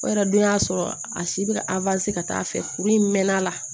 O yɛrɛ dun y'a sɔrɔ a si bɛ ka ka taa fɛ kuru in mɛn a la